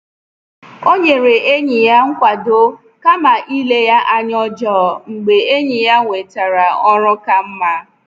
O nyere enyi ya nkwado kama ile ya anya ọjọọ, mgbe enyi ya nwetara ọrụ ka mma.